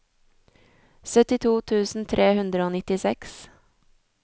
syttito tusen tre hundre og nittiseks